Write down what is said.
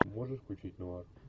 можешь включить нуар